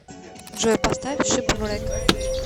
джой поставь шип врэк